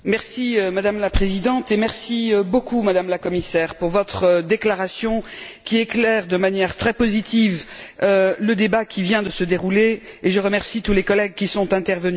Madame la Présidente, merci beaucoup, Madame la Commissaire, pour votre déclaration qui éclaire de manière très positive le débat qui vient de se dérouler, et je remercie tous les collègues qui sont intervenus.